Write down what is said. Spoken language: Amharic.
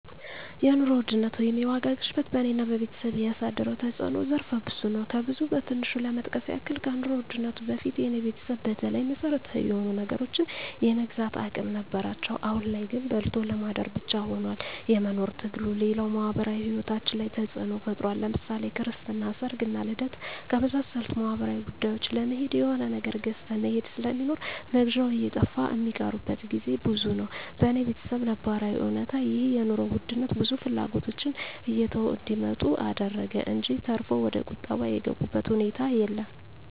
የኑሮ ውድነት ወይም የዋጋ ግሽበት በኔና በቤተሰቤ ያሳደረው ተጽኖ ዘርፈ ብዙ ነው። ከብዙ በትንሹ ለመጥቀስ ያክል ከኑሮ ውድነቱ በፊት የኔ ቤተሰብ በተለይ መሰረታዊ የሆኑ ነገሮችን የመግዛት አቅም ነበራቸው አሁን ላይ ግን በልቶ ለማደር ብቻ ሁኗል የመኖር ትግሉ፣ ሌላው ማህበራዊ ሂወታችን ላይ ተጽኖ ፈጥሯል ለምሳሌ ክርስትና፣ ሰርግና ልደት ከመሳሰሉት ማህበራዊ ጉዳዮች ለመሄድ የሆነ ነገር ገዝተህ መሄድ ስለሚኖር መግዣው እየጠፋ ሚቀሩበት ግዜ ብዙ ነው። በኔ በተሰብ ነባራዊ እውነታ ይህ የኑሮ ውድነት ብዙ ፍላጎቶችን እየተው እንዲመጡ አደረገ እንጅ ተርፎ ወደቁጠባ የገቡበት ሁኔታ የለም።